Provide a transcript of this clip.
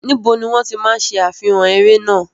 Níbo ni wọ́n ti máa ń ṣe àfihàn eré náà?